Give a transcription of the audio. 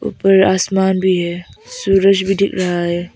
ऊपर आसमान भी है सूरज भी दिख रहा है।